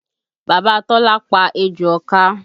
Bàbá Tọ́lá pa ejò ọká